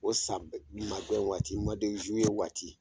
O san bɛ magɛn waati, waati.